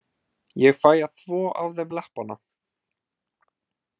Ég fæ að þvo af þeim leppana.